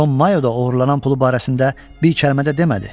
Con Mayo da oğurlanan pulu barəsində bir kəlmə də demədi.